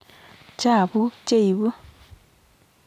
Chapuuk cheipu